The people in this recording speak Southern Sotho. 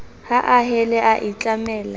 ha a hele a itlamele